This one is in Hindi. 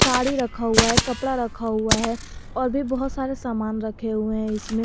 साड़ी रखा हुआ है कपड़ा रखा हुआ है और भी बहुत सारे सामान रखे हुए हैं इसमें।